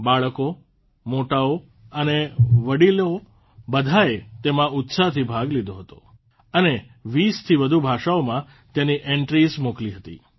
બાળકો મોટાઓ અને વડીલો બધાંએ તેમાં ઉત્સાહથી ભાગ લીધો અને ૨૦થી વધુ ભાષાઓમાં તેની એન્ટ્રીઝ મોકલી હતી